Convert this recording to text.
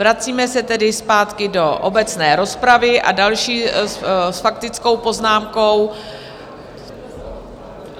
Vracíme se tedy zpátky do obecné rozpravy a další s faktickou poznámkou...